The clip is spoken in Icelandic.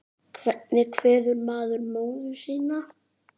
Hvernig kveður maður móður sína?